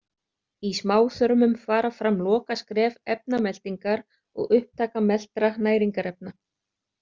Í smáþörmum fara fram lokaskref efnameltingar og upptaka meltra næringarefna.